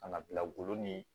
Ka na bila golo ni